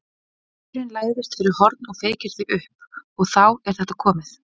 Vindurinn læðist fyrir horn og feykir því upp. og þá er þetta komið.